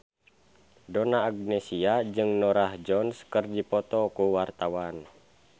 Donna Agnesia jeung Norah Jones keur dipoto ku wartawan